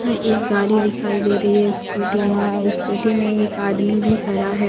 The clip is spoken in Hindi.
हां एक गाड़ी दिखाई दे रही है स्कूटी वहां स्कूटी में एक आदमी भी खड़ा है।